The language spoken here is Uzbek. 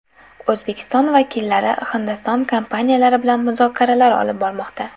O‘zbekiston vakillari Hindiston kompaniyalari bilan muzokaralar olib bormoqda.